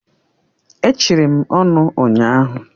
E chiri m ọnụ ụnyahụ.